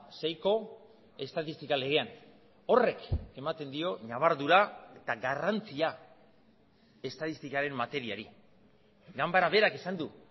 seiko estatistika legean horrek ematen dio ñabardura eta garrantzia estatistikaren materiari ganbara berak esan du